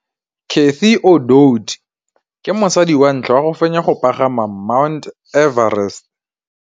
Cathy Odowd ke mosadi wa ntlha wa go fenya go pagama ga Mt Everest.